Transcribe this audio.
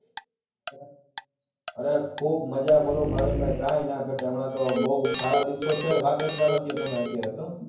અરે ખુબ મજા બોલો ભાવિનભાઈ કઈ ન ઘટે હમણાં તો બહુ સારા દિવસો છે વાત જ જવા દ્યો અત્યારે તમે તો